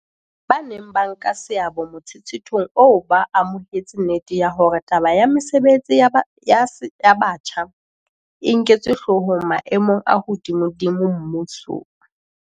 Ba neng ba nka seabo motshetshethong oo ba amohetse nnete ya hore taba ya mesebetsi ya batjha e nketswe hloohong maemong a hodimodimo mmusong.